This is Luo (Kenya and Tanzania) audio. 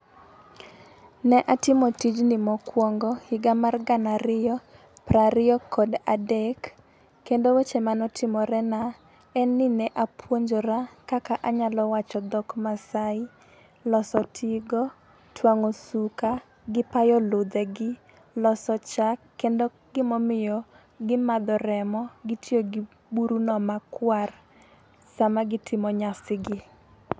Ne atimo tijni mokwongo higa mar gana ariyo prariyo kod adek kendo weche manotimore na en ni: ne apuonjore kaka anyalo wacho dhok masai, loso tigo, twang'o suka gi payo ludhe gi, loso chak kendo gimomiyo gimadho remo, gitiyo gi buru no makwar sama gitimo nyasi gi.